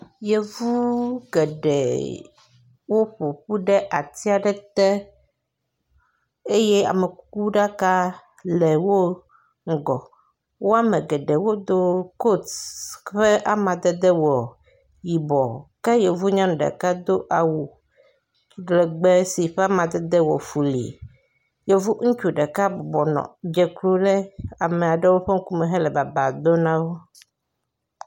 Yevu geɖe woƒoƒu ɖe ati aɖe te eye amekuku ɖaka le wo ŋgɔ, woame geɖe wodo kot yi ƒe amadede wɔ yibɔ ke yevunya ɖeka do awu ŋgɔgbe si ƒe amadede wɔ kɔli, yevu ŋutsu ɖeka dzeklo ɖe ame aɖewo ƒe ŋku me hele baba dom nawo